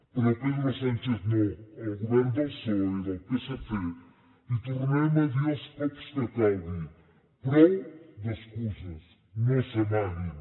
però pedro sánchez no al govern del psoe del psc li tornarem a dir els cops que calgui prou d’excuses no s’amaguin